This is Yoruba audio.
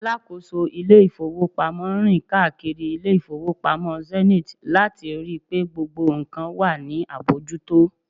alákóso ilé ifowópamọ́ rin kaakiri ile ifowopamọ Zenith lati ri pe gbogbo nkan wa ni abojuto